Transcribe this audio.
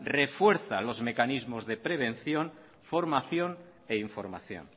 refuerza los mecanismos de prevención formación e información